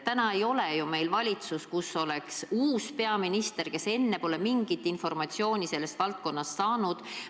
Praegu ei ole ju meil valitsus, kus oleks uus peaminister, kes enne pole mingit informatsiooni sellest valdkonnast saanud.